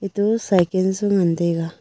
etu cyken su ngan taega.